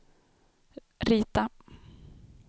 rita